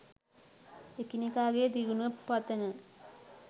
එකිනෙකාගේ දියුණුව පතන